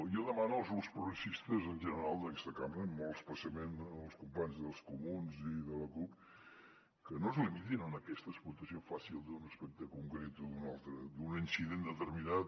jo demano als grups progressistes en general d’aquesta cambra i molt especialment als companys dels comuns i de la cup que no es limitin a aquesta explotació fàcil d’un aspecte concret o d’un altre d’un incident determinat